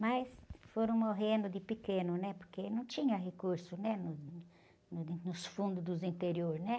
Mas foram morrendo de pequeno, né? Porque não tinha recurso, né? No, como diz, nos fundos do interior.